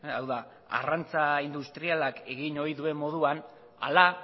hau da arrantza industrialak egin ohi duen moduan ala